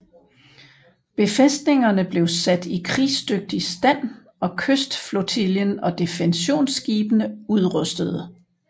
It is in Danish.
Befæstningerne blev satte i krigsdygtig stand og kystflotillen og defensionsskibene udrustede